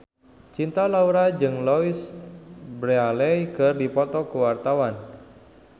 Cinta Laura jeung Louise Brealey keur dipoto ku wartawan